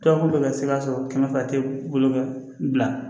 Toyakulu bɛ ka se ka sɔrɔ kɛmɛ fila tɛ bolo kan